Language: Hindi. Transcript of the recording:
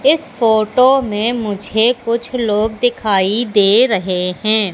इस फोटो में मुझे कुछ लोग दिखाई दे रहे हैं।